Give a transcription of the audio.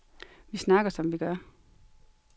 Vi snakker, som vi gør.